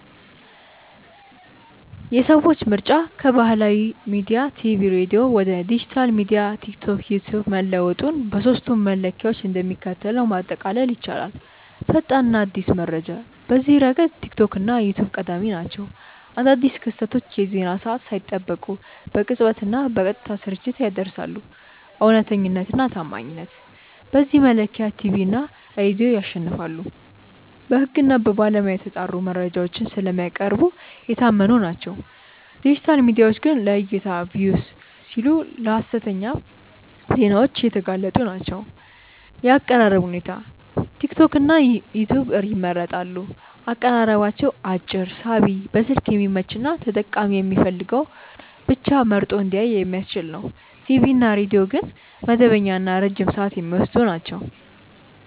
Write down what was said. የሰዎች ምርጫ ከባህላዊ ሚዲያ (ቲቪ/ሬዲዮ) ወደ ዲጂታል ሚዲያ (ቲክቶክ/ዩትዩብ) መለወጡን በሦስቱ መለኪያዎች እንደሚከተለው ማጠቃለል ይቻላል፦ ፈጣንና አዲስ መረጃ፦ በዚህ ረገድ ቲክቶክ እና ዩትዩብ ቀዳሚ ናቸው። አዳዲስ ክስተቶችን የዜና ሰዓት ሳይጠብቁ በቅጽበትና በቀጥታ ስርጭት ያደርሳሉ። እውነተኛነትና ታማኝነት፦ በዚህ መለኪያ ቲቪ እና ሬዲዮ ያሸንፋሉ። በሕግና በባለሙያ የተጣሩ መረጃዎችን ስለሚያቀርቡ የታመኑ ናቸው፤ ዲጂታል ሚዲያዎች ግን ለዕይታ (Views) ሲሉ ለሀሰተኛ ዜናዎች የተጋለጡ ናቸው። የአቀራረብ ሁኔታ፦ ቲክቶክና ዩትዩብ ይመረጣሉ። አቀራረባቸው አጭር፣ ሳቢ፣ በስልክ የሚመች እና ተጠቃሚው የሚፈልገውን ብቻ መርጦ እንዲያይ የሚያስችል ነው። ቲቪ እና ሬዲዮ ግን መደበኛና ረጅም ሰዓት የሚወስዱ ናቸው።